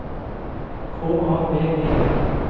K A B E L